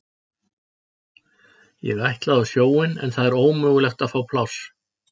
Ég ætlaði á sjóinn en það er ómögulegt að fá pláss.